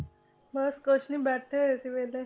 ਬਸ ਕੁਛ ਨੀ ਬੈਠੇ ਹੋਏ ਸੀ ਵਿਹਲੇ